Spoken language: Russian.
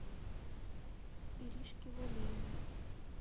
иришки валеевой